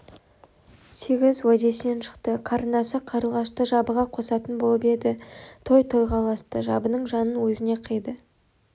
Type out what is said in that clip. сегіз уәдесінен шықты қарындасы қарлығашты жабыға қосатын болып еді той тойға ұласты жабының жанын өзіне қиды